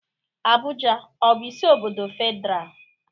Abuja ọ bụ isi obodo Federal?